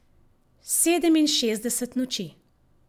Sedeminšestdeset noči.